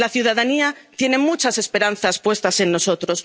La ciudadanía tiene muchas esperanzas puestas en nosotros.